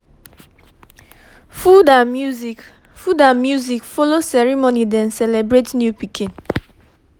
food and music food and music follow ceremony dem celebrate new pikin